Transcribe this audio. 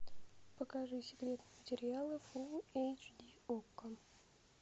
покажи секретные материалы фулл эйч ди окко